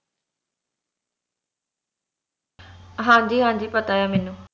ਹਾਂਜੀ ਹਾਂਜੀ ਪਤਾ ਏ ਮੈਨੂੰ